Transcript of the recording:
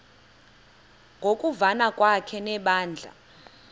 ngokuvana kwakhe nebandla